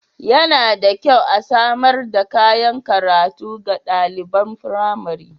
Yana da kyau a samar da kayan karatu ga ɗaliban firamari.